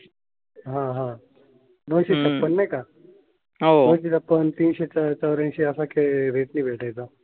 ह ह दोन शे छप्पन नाही का दोन शे छप्पन तीन शे चौर्यांशी असा रेट भेटायचा.